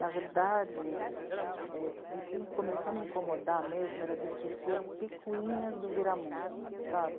Na verdade, é... o que começou a me incomodar mesmo era discutir as picuinhas do Viramundo, sabe?